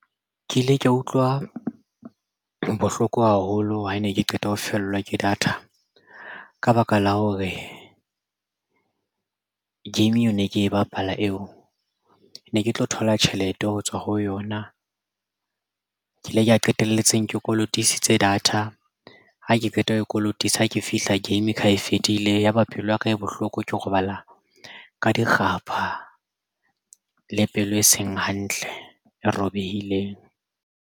Ke ile ka utlwa bohloko haholo ha ne ke qeta ho fellwa ke data ka baka la hore game eo ne ke bapala eo ne ke tlo thola tjhelete ho tswa ho yona ke ile ka qetelletseng ke kolotisitse data ha ke qeta ho kolotisa ha ke fihla game ke ha e fedile yaba pelo yaka e bohloko ke robala ka di kgapha le pelo e seng hantle e robehileng.